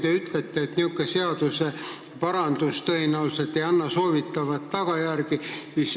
Te ütlete, et seadusparandus tõenäoliselt ei anna soovitavat tagajärge.